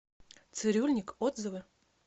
цирюльник отзывы